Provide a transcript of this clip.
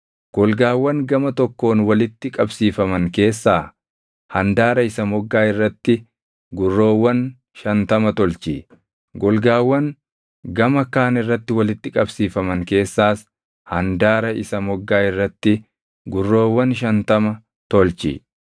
Golgaawwan gama tokkoon walitti qabsiifaman keessaa handaara isa moggaa irratti gurroowwan shantama tolchi; golgaawwan gama kaan irratti walitti qabsiifaman keessaas handaara isa moggaa irratti gurroowwan shantama tolchi.